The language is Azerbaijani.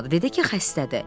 Dedi ki, xəstədir.